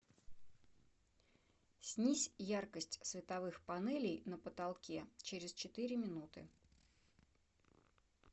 снизь яркость световых панелей на потолке через четыре минуты